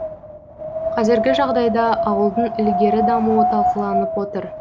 қазіргі жағдайда ауылдың ілгері дамуы талқыланып отыр